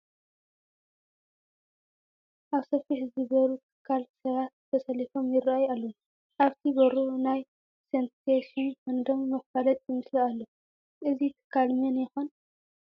ኣብ ሰፊሕ ዝበሩ ትካል ሰባት ተሰሊፎም ይርአዩ ኣለዉ፡፡ ኣብቲ በሩ ናይ ሰንሴሽን ኮንደም መፋለጢ ምስሊ ኣሎ፡፡ እዚ ትካል መን ይኾን?